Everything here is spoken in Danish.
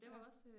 Ja